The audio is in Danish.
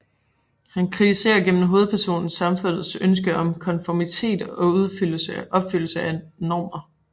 Han kritiserer gennem hovedpersonen samfundets ønske om konformitet og opfyldelse af normer